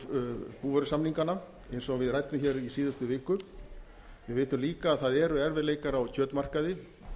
vísitölubindingu búvörusamninganna eins og við ræddum hér í síðustu viku við vitum líka að það eru erfiðleikar á kjötmarkaði við